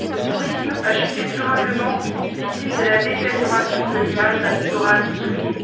le tourisme a chuté durablement, victime de la détérioration de l'image d'un littoral souillé